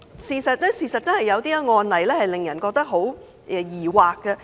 事實上，有些案例真的令人感到疑惑。